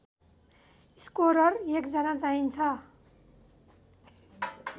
scorer १ जना चाहिन्छ